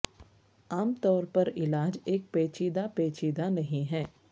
عام طور پر علاج ایک پیچیدہ پیچیدہ نہیں ہے